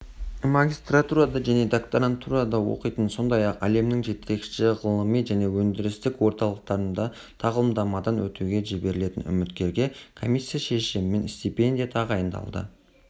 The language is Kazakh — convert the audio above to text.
магистратурада және докторантурада оқитын сондай-ақ әлемнің жетекші ғылыми және өндірістік орталықтарында тағылымдамадан өтуге жіберілетін үміткерге комиссия шешімімен стипендия тағайындалды